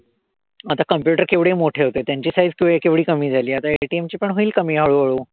आता computer केवढे मोठे होते. त्यांची size केवढी कमी झाली. आता ATM ची पण होईल कमी हळूहळू.